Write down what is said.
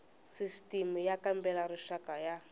sisitimi y kambela rixaka ya